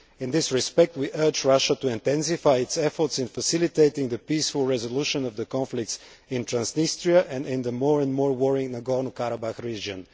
In this respect, we urge Russia to intensify its efforts in facilitating the peaceful resolution of the conflicts in Transnistria and in the more and more worrying Nagorno Karabakh region.